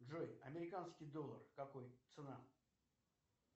джой американский доллар какой цена